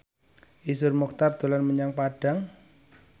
Iszur Muchtar dolan menyang Padang